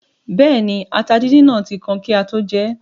Bẹ́ẹ̀ni, ata díndín náà tí kan kí á tó jẹ ẹ́